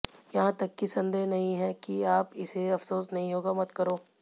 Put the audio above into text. यहां तक कि संदेह नहीं है कि आप इसे अफसोस नहीं होगा मत करो